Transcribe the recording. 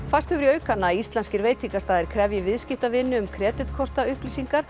færst hefur í aukana að íslenskir veitingastaðir krefji viðskiptavini um